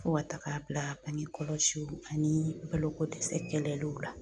Fo ka taga bangekɔlɔsiw ani balokodɛsɛ kɛlɛliw la